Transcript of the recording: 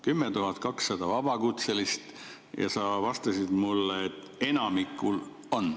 10 200 vabakutselist ja sa vastasid mulle, et enamikul on.